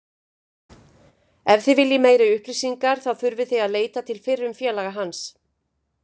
Ef þið viljið meiri upplýsingar þá þurfið þið að leita til fyrrum félags hans.